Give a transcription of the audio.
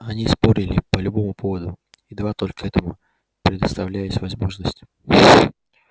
они спорили по любому поводу едва только к этому предоставлялась возможность